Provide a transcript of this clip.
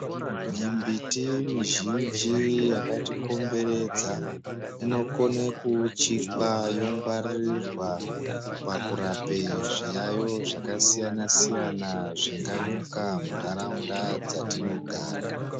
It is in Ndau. Mimbiti mizhinji yakatikomberedza inokone kuwuchikwa yongwaririrwa pakurape zviyayo zvakasiyana siyana zvinganyuka mundaraunda dzatinogara.